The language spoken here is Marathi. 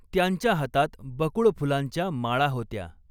त्यांच्या हातात बकुळ फुलांच्या माळा होत्या.